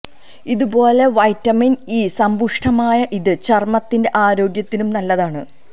ഇതു പോലെ vitamin E സമ്പുഷ്ടമായ ഇത് ചര്മത്തിന്റെ ആരോഗ്യത്തിനും നല്ലതാണ്